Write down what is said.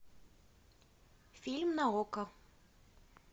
фильм на окко